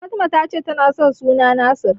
Fatima ta ce tana son suna Nasir.